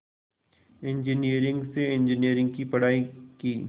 engineering से engineering की पढ़ाई की